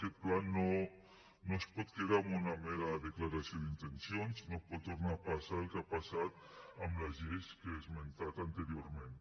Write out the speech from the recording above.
aquest pla no es pot quedar amb una mera declaració d’intencions no pot tornar a passar amb el que ha passat amb les lleis que he esmentat anteriorment